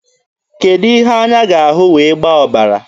Kedụ ihe anya ga-ahụ wee gbaa ọbara?